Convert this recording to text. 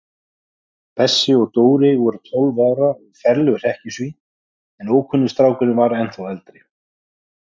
Bessi og Dóri voru tólf ára og ferleg hrekkjusvín, en ókunni strákurinn var ennþá eldri.